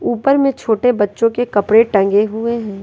ऊपर में छोटे बच्चो के कपड़े टंगे हुए है।